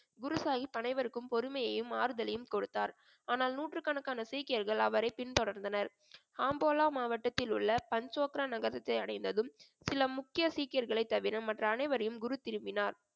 குரு சாஹிப் அனைவருக்கும் பொறுமையையும் ஆறுதலையும் கொடுத்தார் ஆனால் நூற்றுக்கணக்கான சீக்கியர்கள் அவரை பின்தொடர்ந்தனர் ஆம்போலா மாவட்டத்தில் உள்ள பஞ்சோக்ரா நகரத்தை அடைந்ததும் சில முக்கிய சீக்கியர்களை தவிர மற்ற அனைவரையும் குரு திரும்பினார்